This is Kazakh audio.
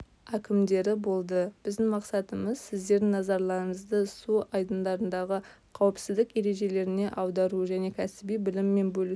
әкімдері болды біздің мақсатымыз сіздердің назарыңызды су айдындарындағы қауіпсіздік ережелеріне аудару және кәсіби біліммен бөлісу